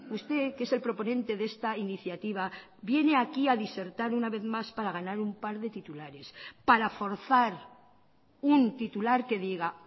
usted que es el proponente de esta iniciativa viene aquí a disertar una vez más para ganar una par de titulares para forzar un titular que diga